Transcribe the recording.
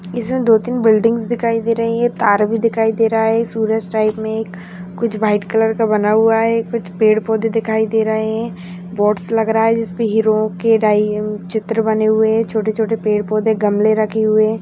इसमें दो तीन बिल्डिंग्स दिखाई दे रही है तार भी दिखाई दे रहा है सूरज टाइप में एक कुछ वाइट कलर का बना हुआ है कुछ पेड़-पौधे दिखाई दे रहे है बोर्ड्स लग रहा हैं जिसमें हीरो के डाई अम चित्र बने हुए है छोटे-छोटे पेड़ पौधे गमले रखे हुए है।